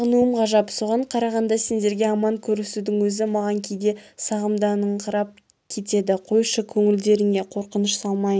сағынуым ғажап соған қарағанда сендерге аман көрісудің өзі маған кейде сағымданыңқырап кетеді қойшы көңілдеріңе қорқыныш салмайын